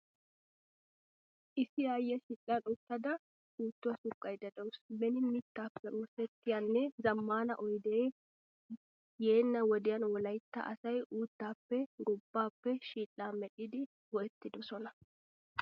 Issi aayiyaa shidhdhan uttada puutuwaa suqqayda deawusu. Beni mittappe oosettiyanne zamaana oyde yeena wodiyan wolaytta asay uuttappe gobbaappe shidhdhaa medhdhidi go'ettidosona.